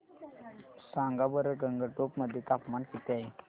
सांगा बरं गंगटोक मध्ये तापमान किती आहे